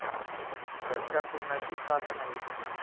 घरच्या कोणाची साथ नाही.